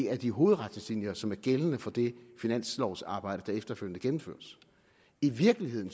er de hovedretningslinjer som er gældende for det finanslovarbejde der efterfølgende gennemføres i virkeligheden